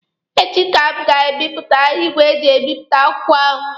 Echi ka m ga-ebute igwe eji ebipụta akwụkwọ ahụ.